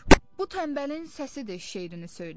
Dur, bu tənbəlin səsidir şeirini söylə.